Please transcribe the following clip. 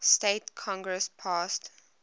states congress passed